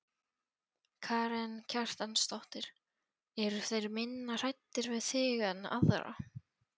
Karen Kjartansdóttir: Eru þeir minna hræddir við þig en aðra?